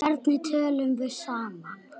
Hvernig tölum við saman?